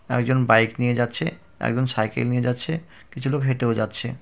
আরেকজন বাইক নিয়ে যাচ্ছে একজন সাইকেল নিয়ে যাচ্ছে কিছু লোক হেঁটেও যাচ্ছে ।